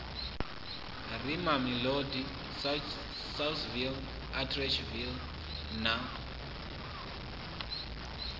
re mamelodi saulsville atteridgeville na